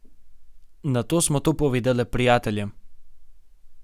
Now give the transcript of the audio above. Nato smo to povedale prijateljem.